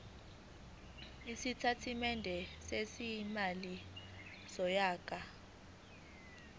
isitatimende sezimali sonyaka